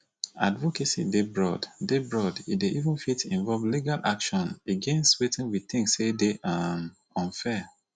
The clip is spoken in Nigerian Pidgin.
advocacy dey broad dey broad e dey fit even involve legal action against wetin we think sey dey um unfair